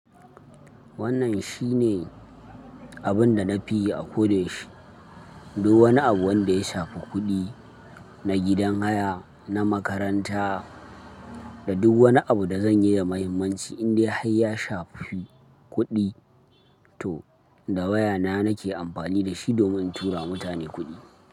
Wannan shi ne abin da na fi yi a koda yaushe. Duk wani abu wanda ya shafi kuɗi na gidan haya, na makaranta da duk wani abu da zan yi da muhimmanci in dai har ya shafi kuɗi to da wayana nake amfani da shi domin in tura mutane kuɗi.